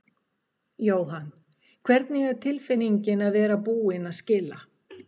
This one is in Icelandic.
Jóhann: Hvernig er tilfinningin að vera búinn að skila?